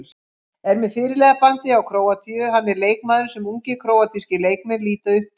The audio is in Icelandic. Er með fyrirliðabandið hjá Króatíu, hann er leikmaðurinn sem ungir króatískir leikmenn líta upp til.